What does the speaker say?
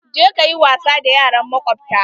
Je ka yi wasa da yaran makwabta!